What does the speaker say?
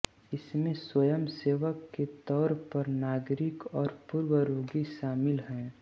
इसमें स्वयंसेवक के तौर पर नागरिक और पूर्व रोगी शामिल हैं